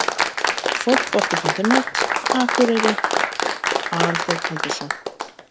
Fótbolti.net, Akureyri- Aðalsteinn Halldórsson.